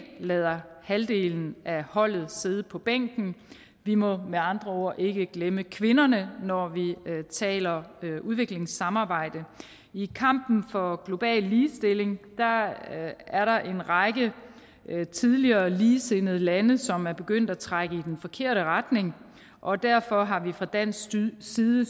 lader halvdelen af holdet sidde på bænken vi må med andre ord ikke glemme kvinderne når vi taler udviklingssamarbejde i kampen for global ligestilling er der en række tidligere ligesindede lande som er begyndt at trække i den forkerte retning og derfor har vi fra dansk side